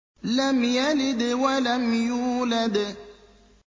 لَمْ يَلِدْ وَلَمْ يُولَدْ